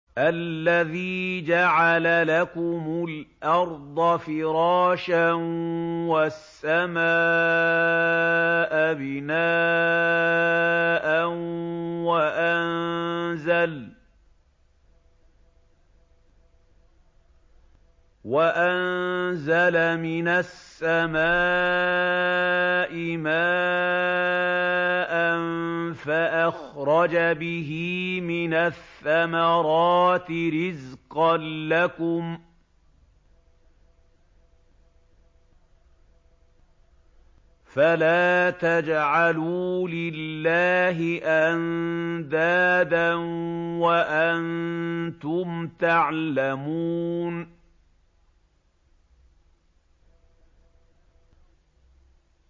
الَّذِي جَعَلَ لَكُمُ الْأَرْضَ فِرَاشًا وَالسَّمَاءَ بِنَاءً وَأَنزَلَ مِنَ السَّمَاءِ مَاءً فَأَخْرَجَ بِهِ مِنَ الثَّمَرَاتِ رِزْقًا لَّكُمْ ۖ فَلَا تَجْعَلُوا لِلَّهِ أَندَادًا وَأَنتُمْ تَعْلَمُونَ